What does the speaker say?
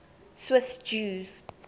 swiss jews